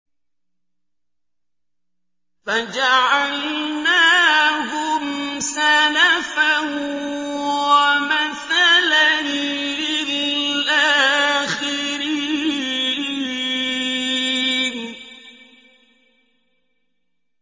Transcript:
فَجَعَلْنَاهُمْ سَلَفًا وَمَثَلًا لِّلْآخِرِينَ